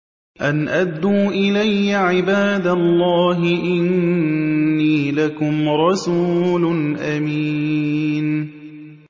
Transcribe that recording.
أَنْ أَدُّوا إِلَيَّ عِبَادَ اللَّهِ ۖ إِنِّي لَكُمْ رَسُولٌ أَمِينٌ